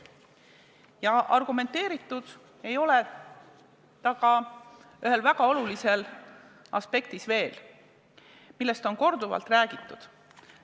Ja argumenteeritud ei ole ta veel ühes väga olulises aspektis, millest on korduvalt räägitud.